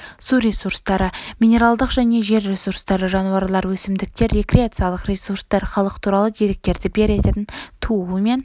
су ресурстары минералдық және жер ресурстары жануарлар өсімдіктер рекреациялық ресурстар халық туралы деректерді беретін туу мен